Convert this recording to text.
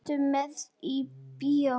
Ertu með í bæinn?